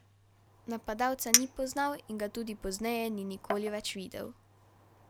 Napadalca ni poznal in ga tudi pozneje ni nikoli več videl.